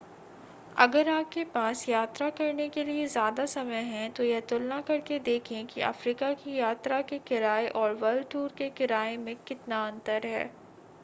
अगर आपके पास यात्रा करने के लिए ज़्यादा समय है तो यह तुलना करके देखें कि अफ्रीका की यात्रा के किराए और वर्ल्ड-टूर के किराए में कितना अंतर है